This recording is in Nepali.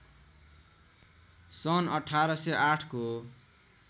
सन् १८०८ को